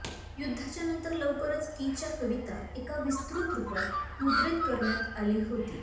युद्धाच्या नंतर लवकरच कीच्या कविता एका विस्तृत रुपात मुद्रित करण्यात आली होती